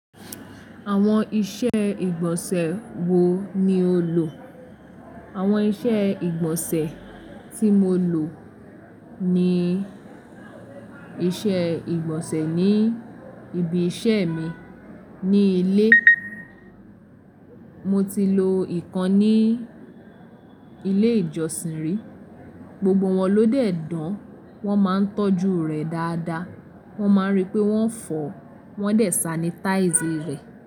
Àwọn iṣẹ́ ìgbọ̀nsẹ̀ wo ni o lò? Àwọn iṣẹ́ ìgbọ̀nsẹ̀ tí mo lò ni iṣẹ́ ìgbọ̀nsẹ̀ ní ibi iṣẹ́ mi. Ní ilé mo ti lo ìkan ní ilé ìjọsìn rí. Gbogbo wọn ló dẹ̀ dán. Wọ́n máa ń tọ́jú rẹ̀ dáadáa. Wọ́n máa ń rí pé wọ́n fọ̀, wọ́n dẹ̀ sanitize rẹ̀.